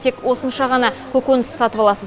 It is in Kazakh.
тек осынша ғана көкөніс сатып аласыз